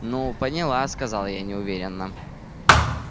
ну поняла сказала я неуверенно